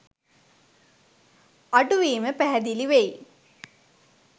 අඩුවීම පැහැදිලි වෙයි.